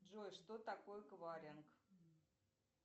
джой что такое кваринг